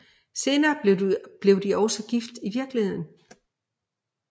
Senere blev de også gift i virkeligheden